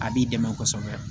A b'i dɛmɛ kosɛbɛ